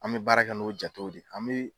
An bɛ baara kɛ n'o jatew de , an bɛ